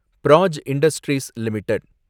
Praj Industries limited